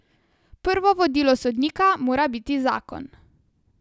Prvo vodilo sodnika mora biti zakon.